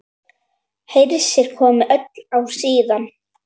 Hersir: Komið öll ár síðan?